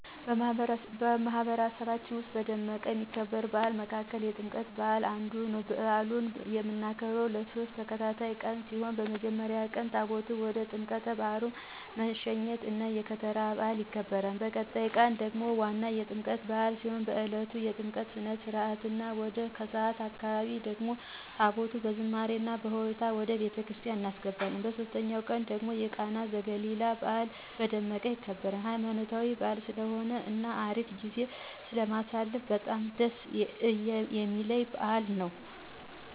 በማህበረሰባችን ዉስጥ በደማቁ ከሚከበሩ በዓላት መካከል የጥምቀት በዓል አንዱ ነው። በአሉን እምናከብረው ለሶስት ተከታታይ ቀን ሲሆን በመጀመሪያው ቀን ታቦታቱን ወደ ጥምቀተ ባህሩ መሸኘት እና የከተራ በዓል ይከበራል። በቀጣዩ ቀን ደግሞ ዋናው የጥምቀት በዓል ሲሆን በእለቱም የጥምቀት ስነ-ስርዓት እና ወደ ከሰዓት አካባቢ ደግሞ ታቦታቱን በዝማሬ እና ሆታ ወደ ቤተክርስቲያን እናስገባለን። በሶስተኛው ቀን ደግሞ የቃና ዘገሊላ በዓል በደማቁ ይከበራል። ሃይማኖታዊ በዓል ስለሆነ እና አሪፍ ጊዜ ስለምናሳልፍ በጣም ደስ እሚለኝ በዓል ነው።